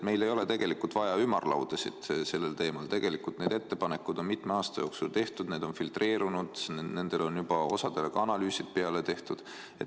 Meil ei ole vaja sellel teemal ümarlaudasid, need ettepanekud on mitme aasta jooksul tehtud, need on filtreerunud, neist osa kohta on ka analüüsid tehtud.